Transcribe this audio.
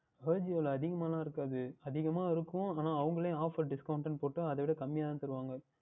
Ajio வில் அதிகமாக எல்லாம் இருக்காது அதிகமாக இருக்கும் ஆனால் அவர்களே OfferDiscount என்று போற்று அதை விட குறைவாக தான் தருவார்கள்